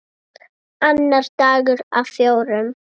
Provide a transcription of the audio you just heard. Annar dagur af fjórum.